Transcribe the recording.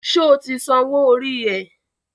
Sọ ti sanwó orí ẹ̀?